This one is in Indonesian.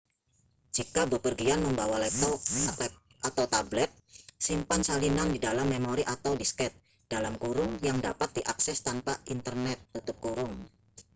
jika bepergian membawa laptop atau tablet simpan salinan di dalam memori atau disket yang dapat diakses tanpa internet